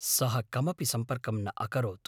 सः कमपि सम्पर्कं न अकरोत्।